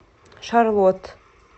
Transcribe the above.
шарлотт